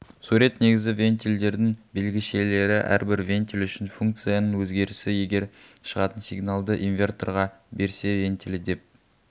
сурет негізгі вентильдердің белгішелері әрбір вентиль үшін функцияның өзгерісі егер шығатын сигналды инверторға берсе вентилі деп